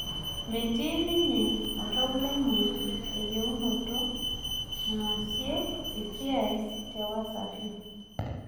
Metii ninye oltau lenye eyeunoto naasie esiai te Wasafi